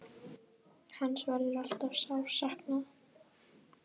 Hans verður alltaf sárt saknað.